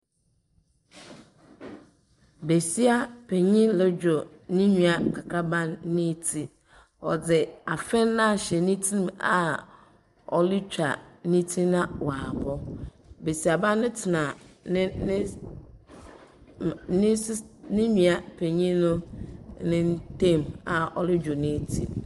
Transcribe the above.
Besia panin redwo ne nua kakarba no ti. Ↄdze afe no ahyɛ ne tsim a ɔretwa ne tsi na wabɔ. Besiaba no tena ne nes mma nesis ne nua panin no nan ntam a ɔredwo ne tsi.